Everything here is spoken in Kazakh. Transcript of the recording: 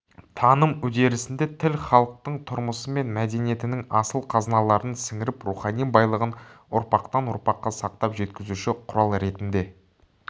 таным үдерісінде тіл халықтың тұрмысы мен мәдениетінің асыл қазыналарын сіңіріп рухани байлығын ұрпақтан ұрпаққа сақтап жеткізуші құрал ретінде